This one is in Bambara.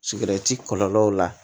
kɔlɔlɔw la